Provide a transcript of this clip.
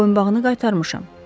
Mən boyunbağını qaytarmışam.